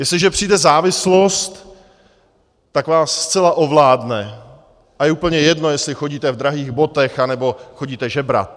Jestliže přijde závislost, tak vás zcela ovládne a je úplně jedno, jestli chodíte v drahých botách anebo chodíte žebrat.